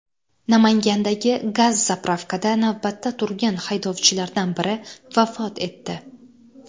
Namangandagi gaz-zapravkada navbatda turgan haydovchilardan biri vafot etdi.